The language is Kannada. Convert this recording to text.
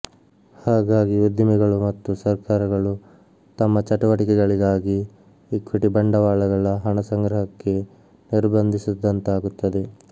ಹಾಗಾಗಿ ಉದ್ದಿಮೆಗಳು ಮತ್ತು ಸರ್ಕಾರಗಳು ತಮ್ಮ ಚಟುವಟಿಕೆಗಳಿಗಾಗಿ ಇಕ್ವಿಟಿ ಬಂಡವಾಳಗಳಹಣಸಂಗ್ರಹಕ್ಕೆ ನಿರ್ಬಂಧಿಸಿದಂತಾಗುತ್ತದೆ